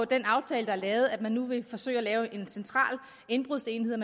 den aftale der er lavet at man nu vil forsøge at lave en central indbrudsenhed og